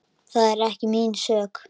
Það er ekki mín sök.